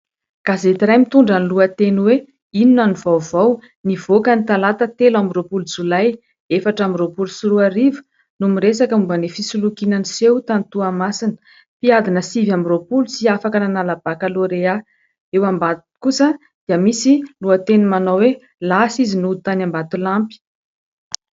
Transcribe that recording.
Gazety iray mitondra ny lohateny hoe "Inona no vaovao" nivoaka ny talata telo amby roapolo jolay efatra amby roapolo sy roa arivo no miresaka momba ny fisolokiana niseho tany Toamasina. Mpiadina sivy amby roapolo tsy afaka nanala bakalorea. Eo ambany kosa dia misy lohateny manao hoe "Lasa izy nody tany Ambatolampy".